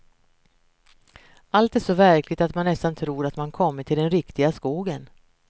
Allt är så verkligt att man nästan tror att man kommit till den riktiga skogen.